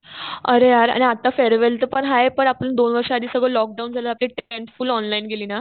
अरे यार आणि आता फेअरवेल पण आहे. पण आपण दोन वर्ष आधी सगळं लॉक डाऊन झालं. आपली टेंथ फुल ऑनलाईन गेली ना.